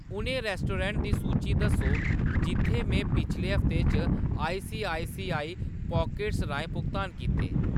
उ'नें रेस्टोडेंट दी सूची दस्सो, जित्थैं मैं पिछले हफ्ते च आईसीआईसीआई पॉकेट्स राहें भुगतान कीते ।